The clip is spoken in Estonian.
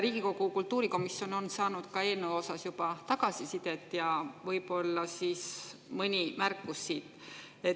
Riigikogu kultuurikomisjon on saanud eelnõu kohta juba tagasisidet, mõni märkus siit.